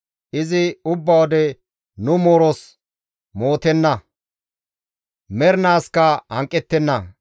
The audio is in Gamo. Izi ubba wode nu mooros mootenna; mernaaskka hanqettenna.